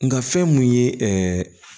Nga fɛn mun ye ɛɛ